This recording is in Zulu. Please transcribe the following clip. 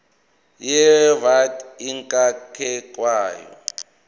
ye vat ingakakhokhwa